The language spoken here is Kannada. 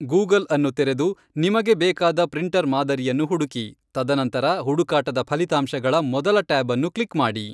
ಗೂಗಲ್ಅನ್ನು ತೆರೆದು, ನಿಮಗೆ ಬೇಕಾದ ಪ್ರಿಂಟರ್ ಮಾದರಿಯನ್ನು ಹುಡುಕಿ, ತದನಂತರ ಹುಡುಕಾಟದ ಫಲಿತಾಂಶಗಳ ಮೊದಲ ಟ್ಯಾಬ್ ಅನ್ನು ಕ್ಲಿಕ್ ಮಾಡಿ.